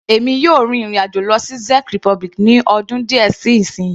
Èmi yóò rin ìrìn àjò lọ sí Czech republic ní ọdún díẹ̀ sí isinyi.